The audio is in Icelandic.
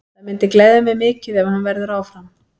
Það myndi gleðja mig mikið ef hann verður áfram.